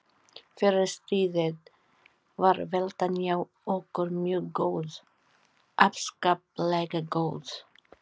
Fyrir stríðið var veltan hjá okkur mjög góð, afskaplega góð.